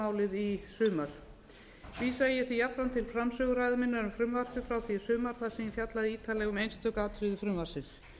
málið í sumar vísa ég því jafnframt til framsöguræðu minnar um frumvarpið frá því í sumar þar sem ég fjallaði ítarlega um einstök atriði frumvarpsins